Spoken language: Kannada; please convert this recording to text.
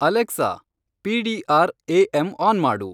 ಅಲೆಕ್ಸಾ, ಪಿಡಿಆರ್ ಎ.ಎಂ.ಆನ್ ಮಾಡು